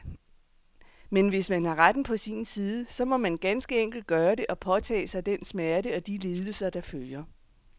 Men hvis man har retten på sin side, så må man ganske enkelt gøre det, og påtage sig den smerte og de lidelser, der følger.